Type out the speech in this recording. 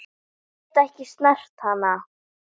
Get ekki snert hana.